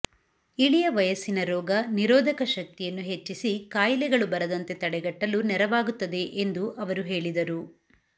ಇಳಿಯ ವಯಸ್ಸಿನ ರೋಗ ನಿರೋಧಕ ಶಕ್ತಿಯನ್ನು ಹೆಚ್ಚಿಸಿ ಕಾಯಿಲೆಗಳು ಬರದಂತೆ ತಡೆಗಟ್ಟಲು ನೆರವಾಗುತ್ತದೆ ಎಂದು ಅವರು ಹೇಳಿದರು